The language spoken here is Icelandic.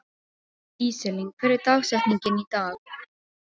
Íselín, hver er dagsetningin í dag?